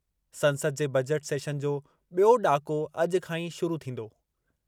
संसद जे बजट सेशनु जो बि॒यों ॾाको अॼु खां ई शुरू थींदो।